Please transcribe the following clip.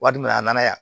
Wari min a nana yan